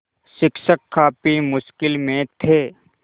शिक्षक काफ़ी मुश्किल में थे